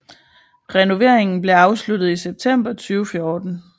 Renoveringen blev afsluttet i september 2014